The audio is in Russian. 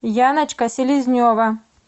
яночка селезнева